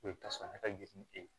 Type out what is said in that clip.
Ko i bi taa sɔrɔ ne ka girin e ye